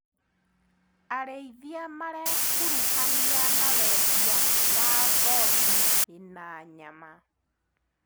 Arĩithia marekuruhania na wendia wa ngothi na nyama.